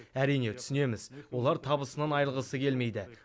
әрине түсінеміз олар табысынан айырылғысы келмейді